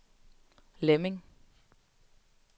Lemming